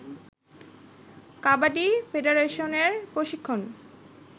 কাবাডি ফেডারেশনের প্রশিক্ষণ